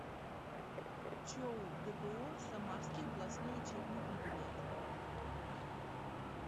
чоу дпо самарский областной учебный комбинат